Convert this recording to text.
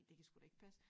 Det kan sgu da ikke passe